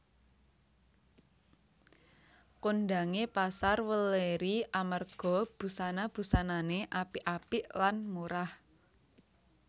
Kondhange Pasar Welèri amarga busana busanane apik apik lan murah